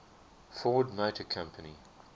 ford motor company